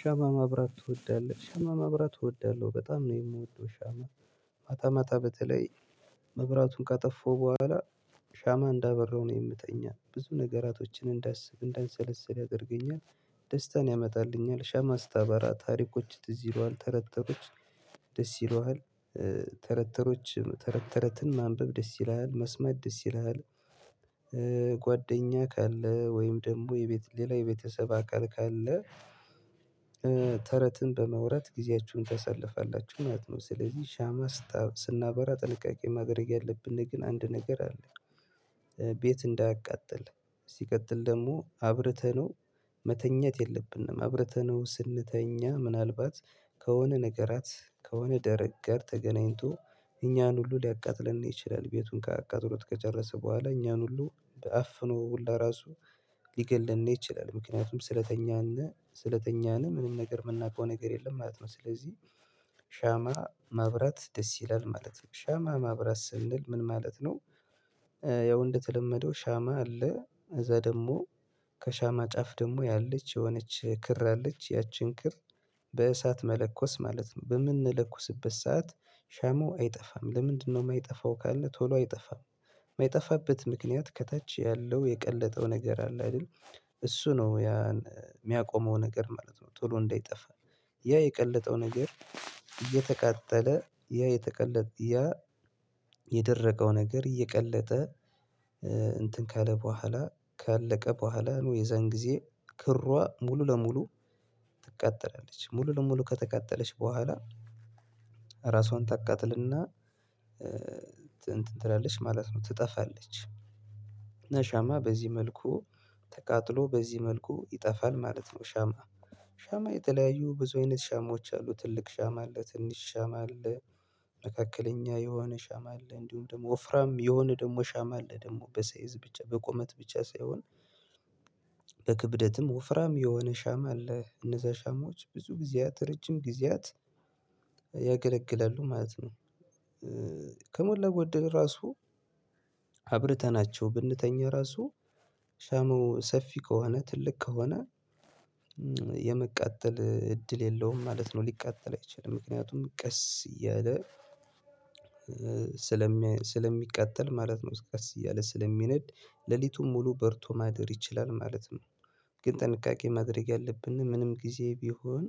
ሻማ ማብራት ትወዳለህ ሻማ ማብራት እወዳለሁ በጣም ነው የምወደው። ሻማ ማታ ማታ በተለይ መብራቱን ካጠፋው በኋላ ሻማ እንዳበራው ነው የምተኛት ብዙ ነገራቶችን እንዳስብ እንዳንሰለስል አድርገኛል። ደስታን ያመጣልኛል ሻማ አስታባራ ታሪኮች ትዝ ይለዋል ተረተሮች ደስ ይለዋል ተረተሮች ተረተረትን ማንበብ ደስ ይለዋል መስማት ደስ ይለዋል። ጓደኛ ካለ ወይም ደግሞ የቤት ሌላ የቤተሰብ አካል ካለ በመውራት ጊዜያችሁን ተሰልፋላችሁ ማለት ነው። ስለዚህ ሻማ ስታብ ስናበራ ጥንቃቄ ማገልግ ያለብን ግን አንድ ነገር አለ። ቤት እንዳያቃጥል ሲቀጥል ደግሞ አብርተነው መተኛት የለብንም። አብረተነው ስንተኛ ምናልባት ከሆነ ነገራት ከሆነ ደረቅ ጋር ተገናኝቶ እኛን ሁሉ ሊያቃጥልን ይችላል። ቤቱን ካቃጥሉት ከጨረሰ በኋላ እኛን ሁሉ በአፍኖ ለራሱ ሊገልን ይችላል። ምክንያቱም ስለተኛነ ስለተኛነ ምንም ነገር የምናውቀው ነገር የለም ማለት ነው። ስለዚህ ሻማ ማብራት ደስ ይላል ማለት ነው። ሻማ ማብራት ስንል ምን ማለት ነው? ያው እንደተለመደው ሻማ አለ እዛ ደግሞ ከሻማ ጫፍ ደግሞ ያለች የሆነች ክር አለች ያቺን ክር በእሳት መለኮስ ማለት በምንለኩስበት ሰዓት ሻማው አይጠፋም። ለምንድነው የማይጠፋው ካለ ቶሎ አይጠፋም። የማይጠፋበት ምክንያት ከታች ያለው የቀለጠው ነገር አለ አይደል? እሱ ነው ያ የሚያቆመው ነገር ማለት ነው። ጥሎ እንዳይጠፋ ያ የቀለጠው ነገር እየተቃጠለ ያ የተቀለ ያ የደረገው ነገር እየቀለጠ እንትን ከለ በኋላ ካለቀ በኋላ አሉ የዛን ጊዜ ክሯ ሙሉ ለሙሉ ትቀጠላለች ሙሉ ለሙሉ ከተቀጠለች በኋላ ታቃጥልና ትንትን ትላለች ማለት ነው። ትጠፋለች። ሻማ በዚህ መልኩ ተቃጥሎ በዚህ መልኩ ይጠፋል ማለት ነው። ሻማ ሻማ የተለያዩ ብዙ አይነት ሻማዎች አሉ ትልቅ ሻማ አለ ትንሽ ሻማ አለ። መካከለኛ የሆነ ሻማ አለ እንዲሁም ደግሞ ወፍራም የሆነ ደግሞ ሻማ አለ ደግሞ በሰይዝ ብቻ በቁመት ብቻ ሳይሆን በክብደትም ወፍራም የሆነ ሻማ አለ እነዛ ሻማዎች ብዙ ጊዜያት ረጅም ጊዜያት ያገለግላሉ ማለት ነው። ከሞላ ጎደል ራሱ አብርተናቸው ብንተኛው ራሱ ሻማው ሰፊ ከሆነ ትልቅ ከሆነ የመቃጠል እድል የለውም ማለት ነው። ቢቃጠልም አይችልም ምክንያቱም ቀስ እያለ ስለሚቃጠል ማለት ነው። እስከዚህ እያለ ስለሚነድ ሌሊቱን ሙሉ በርቶ ማደር ይችላል ማለት ነው። ግን ጥንቃቄ ማድረግ ያለብንን ምንም ጊዜ ቢሆን